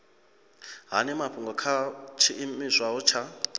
hani mafhungo kha tshiimiswa tsha